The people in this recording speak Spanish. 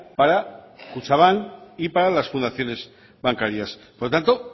para kutxanbank y para las fundaciones bancarias por lo tanto